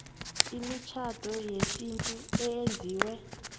imitjhado yesintu eyenziwe